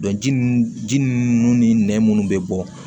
ji nun ji ninnu ni nɛn munnu be bɔ